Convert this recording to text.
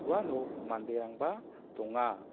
uano manderangba donga.